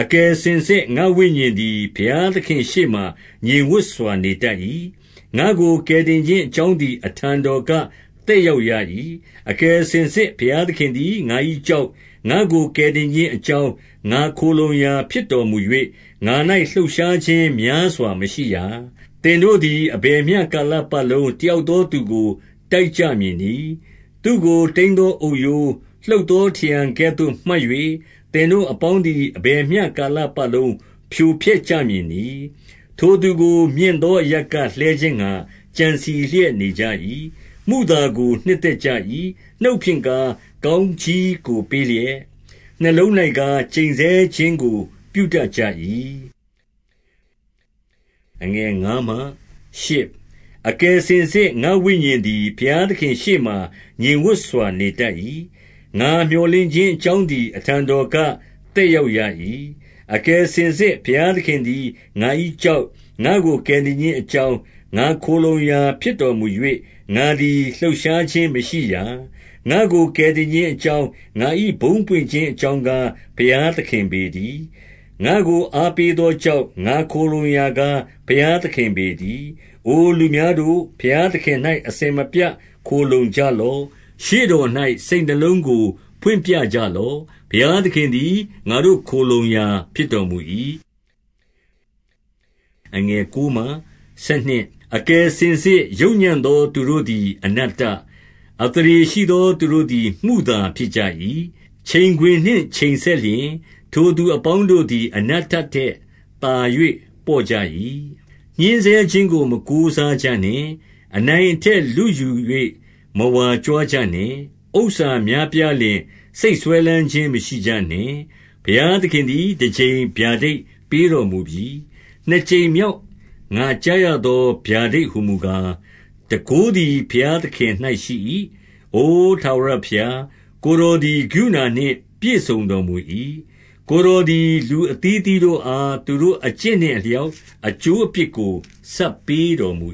အကယ်စင်စစ် ငါ့ဝိညာဉ်သည် ဘုရားသခင်ရှေ့မှာ ငြိမ်ဝပ်စွာ နေတတ်၏။ ငါ့ကို ကယ်တင်ခြင်း အကြောင်းသည် အထံတော်က သက်ရောက်ရ၏။ အကယ်စင်စစ် ဘုရားသခင်သည် ငါ၏ကျောက်၊ ငါ့ကို ကယ်တင်ခြင်းအကြောင်း၊ ငါ့ခိုလှုံရာဖြစ်တော် မူ၍၊ ငါ၌ လှုပ်ရှားခြင်းများစွာ မရှိရာ။ သင်တို့သည် အဘယ်မျှကာလပတ်လုံး တယောက်သောသူကို တိုက်ကြမည်နည်း။ သူ့ကို တိမ်းသော အုပ်ရိုး၊ လှုပ်သော ထရံကဲ့သို့ မှတ်၍၊ သင်တို့အပေါင်းသည် အဘယ်မျှကာလပတ်လုံး ဖြိုဖျက် ကြမည်နည်း။ ထိုသူကို မြင့်သော အရပ်က လှဲခြင်းငှါ ကြံစည်လျက် နေကြ၏။ မုသာကို နှစ်သက်ကြ၏။ နှုတ်ဖြင့်ကား၊ ကောင်းကြီးကို ပေးလျက်၊ နှစ်လုံး၌ကြား၊ ကျိန်ဆဲခြင်းကို ပြုတတ်ကြ၏။ အကယ်စင်စစ် ငါ့ဝိညာဉ်သည် ဘုရားသခင်ရှေ့မှာ ငြိမ်ဝပ်စွာ နေတတ်၏။ ငါမြော်လင့်ခြင်း အကြောင်းသည် အထံတော်က သက်ရောက်ရ၏။ အကယ်စင်စစ် ဘုရားသခင်သည် ငါ၏ကျောက်၊ ငါ့ကို ကယ်တင်ခြင်းအကြောင်း၊ ငါခိုလှုံရာဖြစ်တော် မူ၍၊ ငါသည် လှုပ်ရှားခြင်းမရှိရာ။ ငါ့ကို ကယ်တင်ခြင်းအကြောင်း၊ ငါ၏ဘုန်းပွင့်ခြင်းအကြောင်းကား ဘုရားသခင်ပေတည်း။ ငါ့ကို အားပေးသောကျောက်၊ ငါခိုလှုံရာကား ဘုရားသခင်ပေတည်း။ အိုလူများတို့၊ ဘုရားသခင်၌ အစဉ်မပြတ် ခိုလှုံကြလော့။ ရှေ့တော်၌ စိတ်နှလုံးကို ဖွင့်ပြကြလော့။ ဘုရားသခင်သည် ငါတို့ ခိုလှုံရာဖြစ်တော်မူ၏။ အကယ်စင်စစ် ယုတ်ညံ့သော သူတို့သည် အနတ္တ၊ အသရေရှိသော သူတို့သည် မုသာဖြစ်ကြ၏။ ချိန်ခွင်နှင့် ချိန်စက်လျှင် ထိုသူအပေါင်းတို့သည် အနတ္တထက် သာ၍ ပေါ့ကြ၏။ ညှဉ်းဆဲခြင်းကို မကိုးစားကြနှင့်။ အနိုင်အထက်လုယူ၍ မဝါကြွားကြနှင့်။ ဥစ္စာများပြားလျှင် စိတ်စွဲလမ်းခြင်း မရှိကြနှင့်။ ဘုရားသခင်သည် တကြိမ် ဗျာဒိတ်ပေးတော်မူပြီ။ နှစ်ကြိမ်မြောက် ငါကြားရသော ဗျာဒိတ်တော်ဟူမူ ကား၊ တန်ခိုးသည် ဘုရားသခင်၌ ရှိ၏။ အို ထာဝရဘုရား၊ ကိုယ်တော်သည် ကရုဏာနှင့် ပြည့်စုံတော်မူ၏။ ကိုယ်တော်သည် လူအသီးအသီးတို့ အား သူတို့အကျင့်နှင့်အလျောက် အကျိုးအပြစ်ကို ဆပ်ပေးတော်မူ